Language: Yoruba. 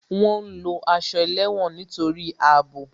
Wọn ń lo aṣọ ẹlẹ́wọ̀n nítorí àbò